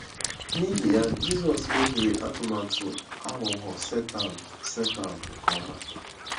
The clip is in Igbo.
N’ihi ya, Jizọs mebiri atụmatụ aghụghọ Setan Setan nke ọma.